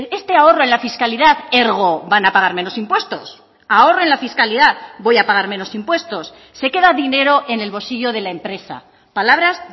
este ahorro en la fiscalidad ergo van a pagar menos impuestos ahorro en la fiscalidad voy a pagar menos impuestos se queda dinero en el bolsillo de la empresa palabras